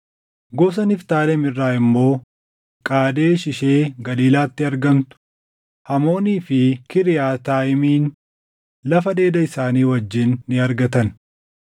gosa Niftaalem irraa immoo Qaadesh ishee Galiilaatti argamtu, Hamoonii fi Kiriyaataayimin lafa dheeda isaanii wajjin ni argatan.